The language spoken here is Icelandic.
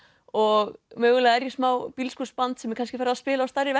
og mögulega er ég smá bílskúrsband sem er kannski farið að spila á stærri